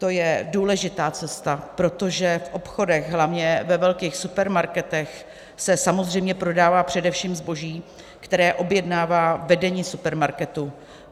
To je důležitá cesta, protože v obchodech, hlavně ve velkých supermarketech, se samozřejmě prodává především zboží, které objednává vedení supermarketu.